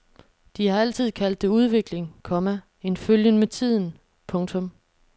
De har altid kaldt det udvikling, komma en følgen med tiden. punktum